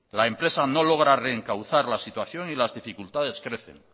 la empresa no logra reencauzar la situación y las dificultades crecen